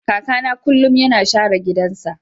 kakana kullum yana share gidansa.